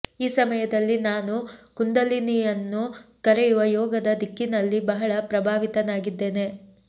ಈ ಸಮಯದಲ್ಲಿ ನಾನು ಕುಂದಲಿನಿಯನ್ನು ಕರೆಯುವ ಯೋಗದ ದಿಕ್ಕಿನಲ್ಲಿ ಬಹಳ ಪ್ರಭಾವಿತನಾಗಿದ್ದೇನೆ